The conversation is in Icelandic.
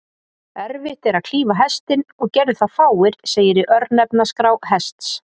Erfitt er að klífa Hestinn, og gerðu það fáir, segir í örnefnaskrá Hests.